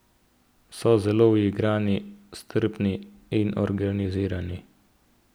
So zelo uigrani, strpni in organizirani.